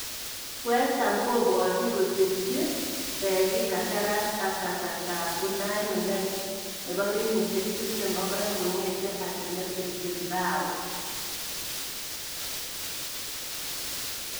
(Mail) West Ham kobwati kosirchi Beki kandaras ang kasarta ab Unai Nunez, 22, kongete Athletic Bilbao.